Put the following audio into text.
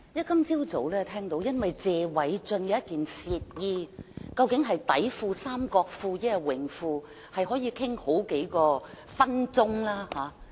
今天早上，聽到因為謝偉俊議員的一件褻衣，究竟是內褲、三角褲，還是泳褲，也可以談好幾分鐘。